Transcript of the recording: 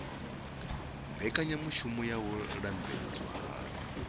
mbekanyamushumo ya u lambedzwa ha